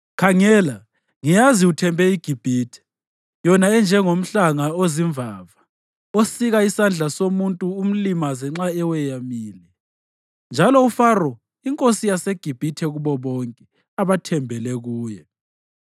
Khangela, ngiyazi uthembe iGibhithe, yona enjengomhlanga ozimvava osika isandla somuntu umlimaze nxa eweyamile. Unjalo uFaro inkosi yaseGibhithe kubo bonke abathembele kuye.